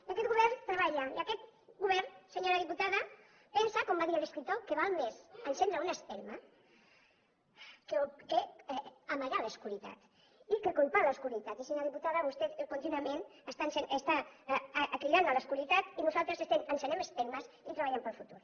i aquest govern treballa i aquest govern senyora diputada pensa com va dir l’escriptor que val més encendre una espelma que amagar l’obscuritat i que culpar l’obscuritat i senyora diputada vostè contínuament està cridant a l’obscuritat i nosaltres estem encenent espelmes i treballant pel futur